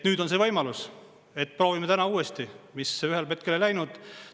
Nüüd on see võimalus, proovime täna uuesti, mis ühel hetkel ei läinud.